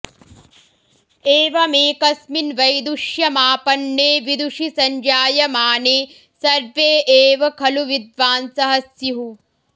एवमेकस्मिन् वैदुष्यमापन्ने विदुषि सञ्जायमाने सर्वे एव खलु विद्वांसः स्युः